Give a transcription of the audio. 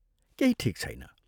केही ठीक छैन।